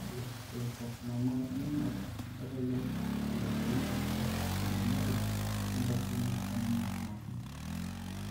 Ore eadenocarcinomae eminyor kelelek eyiolounoto eiriamari oentoroni eminyor napi.